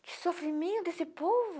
Que sofrimento esse povo!